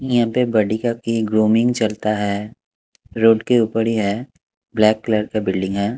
यहां पे बडीका की ग्रूमिंग चलता है रोड के ऊपर ही है ब्लैक कलर का बिल्डिंग है।